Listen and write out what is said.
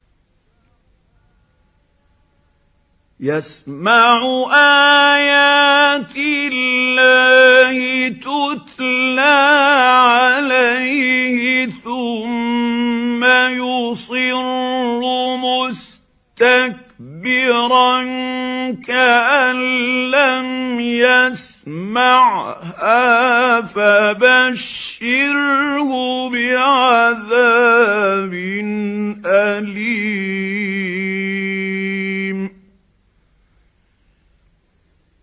يَسْمَعُ آيَاتِ اللَّهِ تُتْلَىٰ عَلَيْهِ ثُمَّ يُصِرُّ مُسْتَكْبِرًا كَأَن لَّمْ يَسْمَعْهَا ۖ فَبَشِّرْهُ بِعَذَابٍ أَلِيمٍ